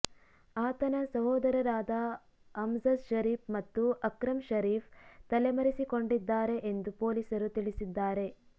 ಆತನ ಸಹೋದರರಾದ ಅಮ್ಜದ್ ಷರೀಫ್ ಮತ್ತು ಅಕ್ರಮ್ ಷರೀಫ್ ತಲೆಮರೆಸಿಕೊಂಡಿದ್ದಾರೆ ಎಂದು ಪೊಲೀಸರು ತಿಳಿಸಿದ್ದಾರೆ